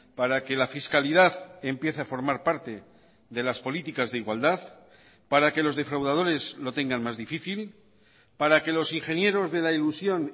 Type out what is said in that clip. para que la fiscalidad empiece a formar parte de las políticas de igualdad para que los defraudadores lo tengan más difícil para que los ingenieros de la ilusión